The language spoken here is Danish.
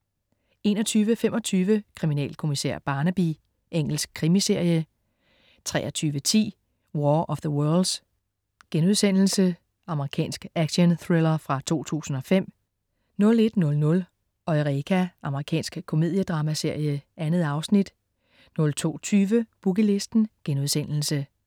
21.25 Kriminalkommissær Barnaby. Engelsk krimiserie 23.10 War of the worlds.* Amerikansk actionthriller fra 2005 01.00 Eureka. Amerikansk komediedramaserie. 2 afsnit 02.20 Boogie Listen*